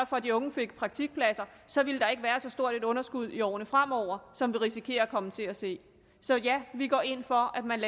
for at de unge fik praktikpladser så ville der ikke være så stort et underskud i årene fremover som vi risikerer at komme til at se så ja vi går ind for at man